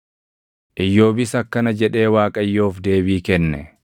Iyyoobis akkana jedhee Waaqayyoof deebii kenne: